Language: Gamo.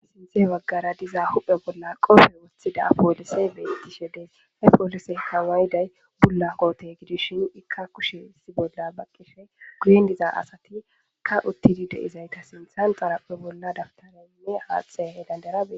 Sinthe waggara diza huphe bolla qofe woththida poolisey beyttishe dees e poolisey kawayday bulla goote gidishin ikka kushesi bolla baqqisfhe guyen diza asati ka uttidi deizayta sinthan xarapphe bolla daftaranne haathtxhe he landerai